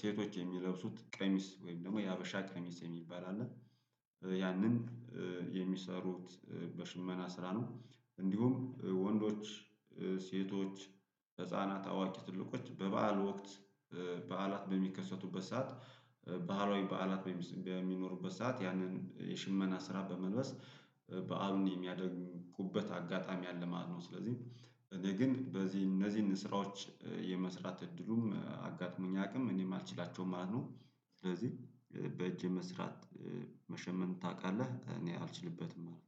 ሴቶች የሚለብሱት ቀሚስ ወይም ደግሞ የሀበሻ ቀሚስ የሚባል አለ፤ ያንን የሚሰሩት በሽመና ስራ ነው እንዲሁም ወንዶች ሴቶች ህፃናት አዋቂ ትልቆች በበዓል ወቅት በዓላት በሚከሰቱበት ሰዓት በአሏዊ በዓላት በሚኖሩበት ሰዓት ያንን የሽመና ስራ በመልበስ በዓሉን የሚያደምቁበት አጋጣሚ አለ ማለት ነው ስለዚህ እኔ ግን በዚህ እነዚህን ስራዎች የመስራት እድሉም አጋጥሞኝ አያውቅም፤ እኔም አልችላቸውም ማለት ነው ስለዚህ በእጅ መስራት መሸመን ታውቃለህ እኔ አልችልበትም አልሁ።